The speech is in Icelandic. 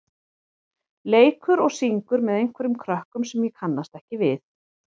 leikur og syngur með einhverjum krökkum sem ég kannast ekki við.